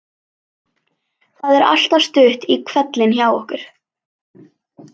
Það er alltaf stutt í hvellinn hjá okkur.